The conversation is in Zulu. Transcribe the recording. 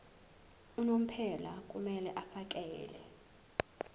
unomphela kumele afakele